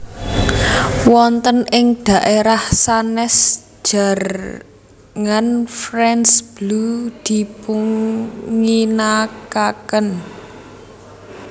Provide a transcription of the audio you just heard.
Wonten ing daérah sanès jarngan France Bleu dipunginakaken